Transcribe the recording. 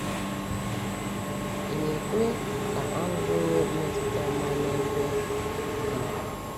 um Ì na-ekwe ka ahụhụ nwee mmetụta ọma n’ebe gị?